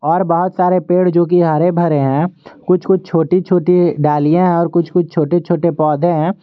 और बहुत सारे पेड़ जो कि हरे भरे हैं कुछ कुछ छोटी छोटी डालियां हैं और कुछ कुछ छोटे छोटे पौधे हैं।